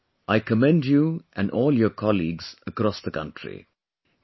Premji, I commend you and all your colleagues across the country